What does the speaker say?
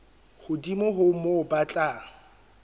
hodimo ho moo ba tla